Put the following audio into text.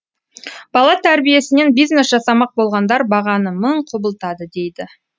бала тәрбиесінен бизнес жасамақ болғандар бағаны мың құбылтады дейді